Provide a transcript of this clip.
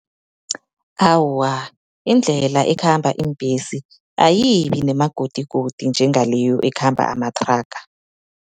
Awa, indlela ekhamba iimbesi, ayibinemagodigodi njengaleyo ekhamba amathraga.